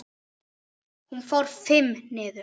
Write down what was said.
Hún fór FIMM niður.